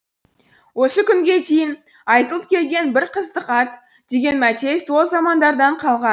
осы күнге дейін айтылып келген бір қыздық ат деген мәтел сол замандардан қалған